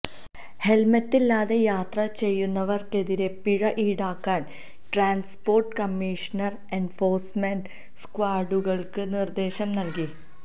ഹെല്മറ്റില്ലാതെ യാത്ര ചെയ്യുന്നവര്ക്കെതിരെ പിഴ ഈടാക്കാന് ട്രാന്സ്പോര്ട്ട് കമ്മിഷണര് എന്ഫോഴ്സ്മെന്റ് സ്ക്വാഡുകള്ക്ക് നിര്ദേശം നല്കി